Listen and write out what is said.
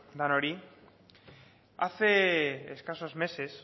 denoi hace escasos meses